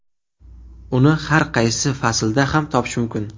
Uni har qaysi faslda ham topish mumkin.